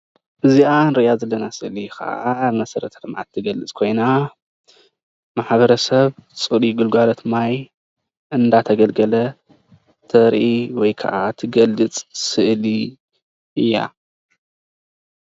እዚኣ ንሪኣ ዘለና ስእሊ ኸዓ መሰረተ ልምዓት ትገልጽ ኮይና ማሕበረሰብ ጽሩይ ግልጋልት ማይ አንዳተገልገለ ተርኢ ወይ ከኣ ትገልጽ ስእሊ እያ።